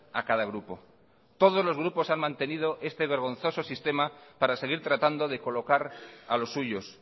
a cada grupo todos los grupos han mantenido este vergonzoso sistema para seguir tratando de colocar a los suyos